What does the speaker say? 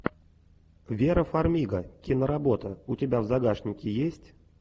вера фармига киноработа у тебя в загашнике есть